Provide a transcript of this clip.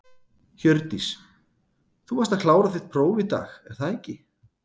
Hjördís: Þú varst að klára þitt próf í dag, er það ekki?